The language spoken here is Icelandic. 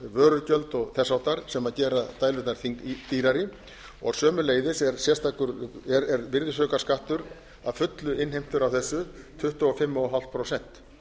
vörugjöld og þess háttar sem gera dælurnar dýrari og sömuleiðis er virðisaukaskattur að fullu innheimtur af þessu tuttugu og fimm og hálft prósent